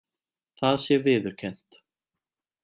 Það sé viðurkennt